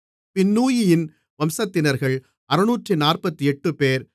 பின்னூயியின் வம்சத்தினர்கள் 648 பேர்